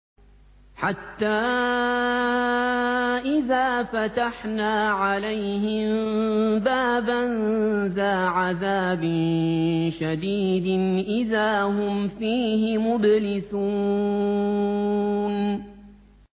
حَتَّىٰ إِذَا فَتَحْنَا عَلَيْهِم بَابًا ذَا عَذَابٍ شَدِيدٍ إِذَا هُمْ فِيهِ مُبْلِسُونَ